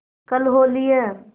कल होली है